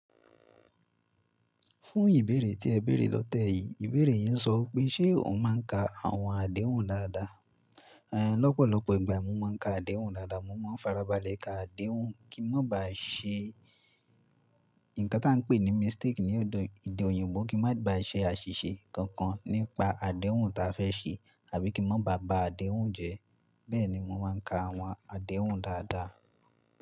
Fún ìbéèrè tí ẹ béèrè lọ́tẹ́ yìí, ìbéèrè yín ń sọ pé ṣe òun máa ń ka àwọn àdéhùn dáadáa? Lọ́pọ̀lọ́pọ̀ ìgbà mo máa ń ka àdéhùn dáadáa, mo máa ń farabalẹ̀ ka àdéhùn kí n má bàá ṣe nǹkan tí à ń pè ní mistake ní òdo èdè òyìnbó kí má bàá ṣe àṣìṣe kankan nípa àdéhùn ta fẹ́ ṣe àbí kí n má bàá ba àdéhùn jẹ́. Bẹ́ẹ̀ni mo máa ń ka àwọn àdéhùn dáadáa.